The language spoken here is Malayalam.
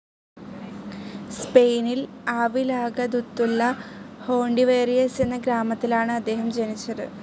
സ്പെയിനിൽ ആവിലാകദുത്തുല്ല ഹോണ്ടിവേറിയസ് എന്ന ഗ്രാമത്തിലാണ് അദ്ദേഹം ജനിച്ചത്.